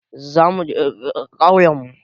Za muje ƙauyen mu